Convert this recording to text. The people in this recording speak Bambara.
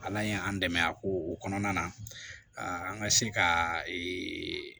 Ala ye an dɛmɛ a ko o kɔnɔna na an ka se ka ee